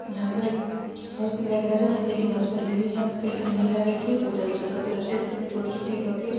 यहाँ पर एक फर्श दिखाई दे रहा है जहाँ हरी-हरी घास फैली हुई है। यहाँ पर कई सारी महिलाऐं बैठी हैं। पूजा स्थल का दृश्य है जिसमें छोटी-छोटी ईटों की --